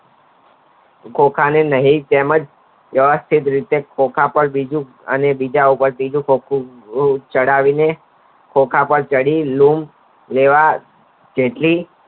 ખોખા ની મિહિર તેમજ તરત જ ખોખા ની ઉપર બીજું ખોખુંઅને બીજા ઉપર ત્રીજું ખોખું ચડાવી ને ખોખા પર ચડી લૂમ કેળા ખેંચી